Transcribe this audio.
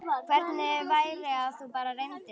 Hvernig væri að þú bara reyndir það?